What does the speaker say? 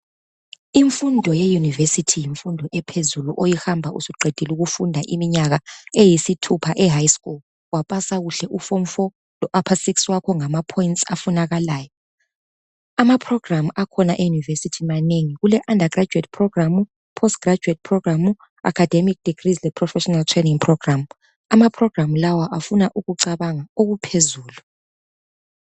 Imfundo yeUniversity yimfundo ephezulu , oyihamba usuqedile ukufunda iminyaka eyisithupha eHigh School, wapasa kuhle uform 4 lo upper 6 wakho ngama points afunakalayo. Ama programme akhona eUniversity manengi, kule undergraduate programme, postgraduate programme, academic degrees le professional training programme. Ama programme lawa afuna ukucabanga okuphezulu.